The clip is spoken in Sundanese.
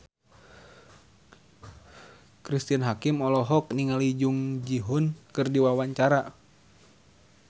Cristine Hakim olohok ningali Jung Ji Hoon keur diwawancara